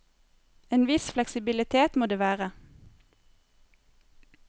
En viss fleksibilitet må det være.